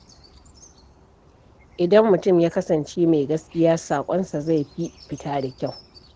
Idan mutum ya kasance mai gaskiya, saƙonsa zai fi fita da kyau.